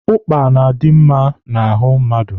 Ụkpa na-adi mma n'ahụ mmadụ.